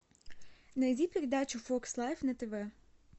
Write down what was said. найди передачу фокс лайф на тв